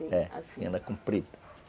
Ela é comprida.